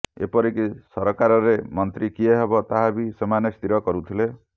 ଏପରି କି ସରକାରରେ ମନ୍ତ୍ରୀ କିଏ ହେବ ତାହା ବି ସେମାନେ ସ୍ଥିର କରୁଥିଲେ